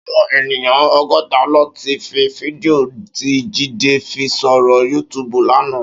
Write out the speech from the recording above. Áwòn éniyàn ógòtá lóti ri fídìó ti Jide fi sóri yútùbú làná